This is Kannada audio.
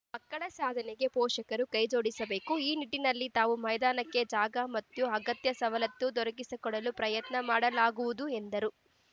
ಮಕ್ಕಳ ಸಾಧನೆಗೆ ಪೋಷಕರು ಕೈ ಜೋಡಿಸಬೇಕು ಈ ನಿಟ್ಟಿನಲ್ಲಿ ತಾವು ಮೈದಾನಕ್ಕೆ ಜಾಗ ಮತ್ತು ಅಗತ್ಯ ಸವಲತ್ತು ದೊರಕಿಸಿಕೊಡಲು ಪ್ರಯತ್ನ ಮಾಡಲಾಗುವುದು ಎಂದರು